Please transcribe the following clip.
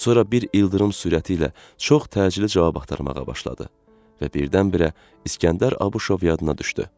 Sonra bir ildırım sürəti ilə çox təcili cavab axtarmağa başladı və birdən-birə İskəndər Abışov yadına düşdü.